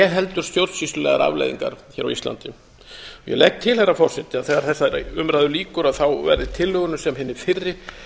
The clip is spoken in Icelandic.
heldur stjórnsýslulegar afleiðingar hér á íslandi ég legg til herra forseti að þegar þessari umræðu lýkur verði tillögunni sem hinni fyrri